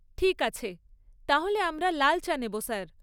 ঠিক আছে, তাহলে আমরা লাল চা নেব, স্যার।